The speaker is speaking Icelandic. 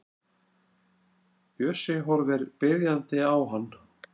Bjössi horfir biðjandi á hann.